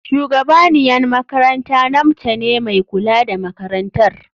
Shugabaniyan makaranta namce ne mai kula da makarantar.